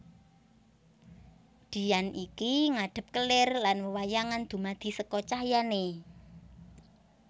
Dian iki ngadhep kelir lan wewayangan dumadi seka cahyané